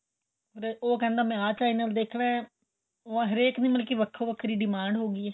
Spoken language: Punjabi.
ਉਹ ਕਹਿੰਦਾ ਮੈਂ ਆਂ cancel ਦੇਖਣਾ ਹਰੇਕ ਦੀ ਮਤਲਬ ਵੱਖੋ ਵੱਖਰੀ demand ਹੋ ਗਏ ਏ